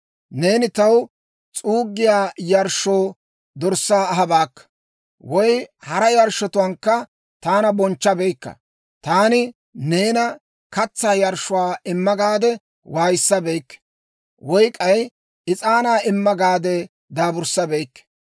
Neeni taw s'uuggiyaa yarshshoo dorssaa ahabaakka; woy hara yarshshotuwaankka taana bonchchabeykka. Taani neena katsaa yarshshuwaa imma gaade waayissabeykke; woy k'ay is'aanaa imma gaade daaburssabeykke.